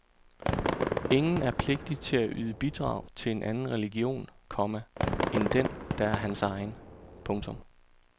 Ingen er pligtig til at yde bidrag til en anden religion, komma end den der er hans egen. punktum